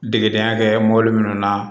Degedenya kɛ mɔbili minnu na